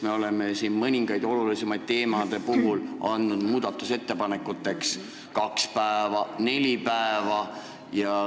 Me oleme siin mõningate olulisemate teemade puhul andnud muudatusettepanekute esitamiseks aega kaks päeva, vahel neli päeva.